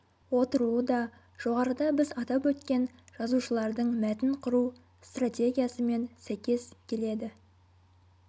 отыруы да жоғарыда біз атап өткен жазушылардың мәтін құру стратегиясымен сәйкес келеді